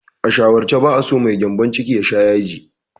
A shawarce, ba'a so mai gyambon ciki ya sha yaji.